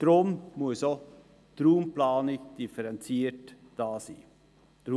Deshalb muss auch die Raumplanung differenziert vorgenommen werden.